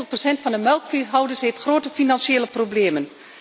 En 50 procent van de melkveehouders heeft grote financiële problemen.